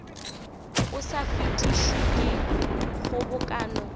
o sa fetišwe ke kgobokano